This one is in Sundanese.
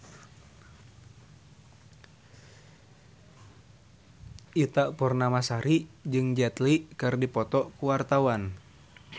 Ita Purnamasari jeung Jet Li keur dipoto ku wartawan